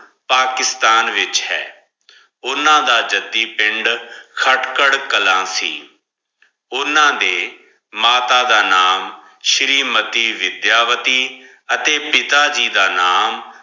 ਪਾਕਿਸਤਾਨ ਵਿਚ ਹੈ ਓਨਾ ਦਾ ਜਾਦੀ ਪਿੰਡ ਕਾਤ੍ਖੇਰ ਕਲਾਸੀ ਓਨਾ ਦੇ ਮਾਤਾ ਦਾ ਨਾਮ ਸ਼ੇਰੀ ਮੱਤੀ ਵਿਦ੍ਯਾ ਵੱਟੀ ਹਾਥੀ ਪਿਤਾ ਜੀ ਦਾ ਨਾਮ